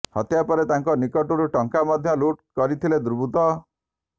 ହତ୍ୟା ପରେ ତାଙ୍କ ନିକଟରୁ ଟଙ୍କା ମଧ୍ୟ ଲୁଟ୍ କରିଥିଲେ ଦୁର୍ବୃତ୍ତ